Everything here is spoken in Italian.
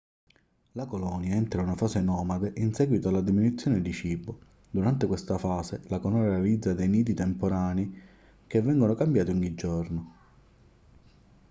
la colonia entra in una fase nomade in seguito alla diminuzione di cibo durante questa fase la colonia realizza dei nidi temporanei che vengono cambiati ogni giorno